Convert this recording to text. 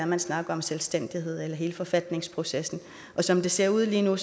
man snakker om selvstændighed og hele forfatningsprocessen og som det ser ud lige nu